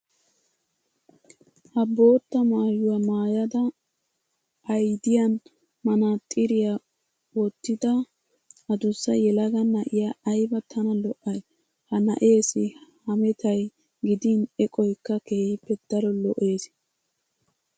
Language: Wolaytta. Ha bootta maayuwa maayada aydiyan manaaxxiriya wottida adussa yelaga na'iya ayba tana lo"ay. Ha na'eessi hametay gidin eqoykka keehippe daro lo"ees.